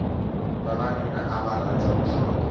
vavanuna ava rhandza ku hlota